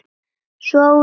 Svo út í garð.